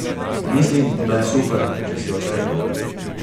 Mislim, da je super, če si odštekan.